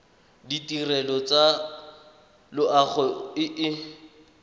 ditirelo tsa loago e e